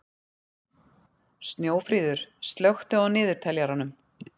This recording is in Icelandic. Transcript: Snjófríður, slökktu á niðurteljaranum.